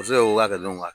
Muso y'o ka